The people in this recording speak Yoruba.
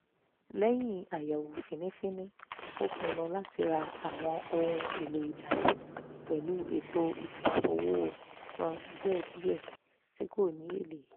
lẹ́yìn àyẹ̀wò fínífíní ó pinnu láti ra àwọn ohun èlò ìdáná pẹ̀lú ètò ìsanwó san díẹ̀díẹ̀ tí kò ní èlé